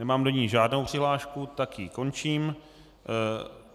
Nemám do ní žádnou přihlášku, tak ji končím.